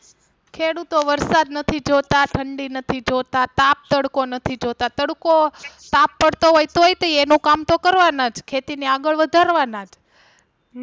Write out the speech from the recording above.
ખેડૂતો વરસાદ નથી જોતા, ઠંડી નથી જોતા, તાપ તડકો નથી જોતા, તડકો તાપ પડતો હોય તોય તે ઈ એનું કામ તો કરવાના જ ખેતી ને આગળ વધારવા ના જ.